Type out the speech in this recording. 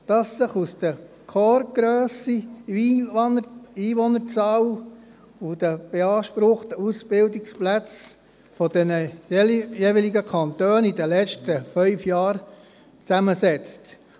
Diese setzen sich zusammen aus der Korpsgrösse, der Einwohnerzahl sowie den beanspruchten Ausbildungsplätzen der jeweiligen Kantone in den letzten fünf Jahren.